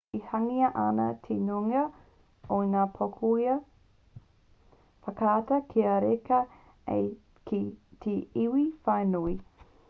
e hangaia ana te nuinga o ngā pouaka whakaata kia reka ai ki te iwi whānui